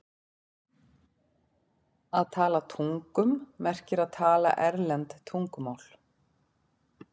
Að tala tungum merkir að tala erlend tungumál.